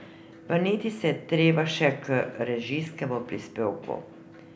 Vrniti se je treba še k režijskemu prispevku.